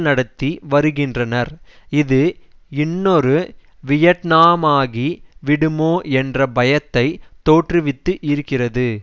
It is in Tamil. நடத்தி வருகின்றனர் இது இன்னொரு வியட்நாமாகி விடுமோ என்ற பயத்தைத் தோற்றுவித்து இருக்கிறது